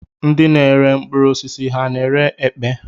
Ndị na-ere mkpụrụosisi ha na-ere epe?